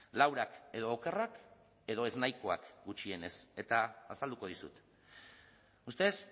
laurak edo okerrak edo ez nahikoak gutxienez eta azalduko dizut ustedes